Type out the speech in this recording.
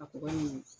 A kɔgɔ ɲuman